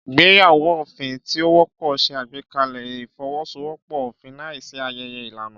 Ìgbéyàwó òfin tí ó wọ́pọ̀ ṣe àgbékalẹ̀ ìfọwọ́sowọ́pọ̀ òfin láìsí ayẹyẹ ìlànà.